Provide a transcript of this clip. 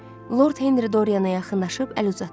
Lord Henri Doriana yaxınlaşıb əl uzatdı.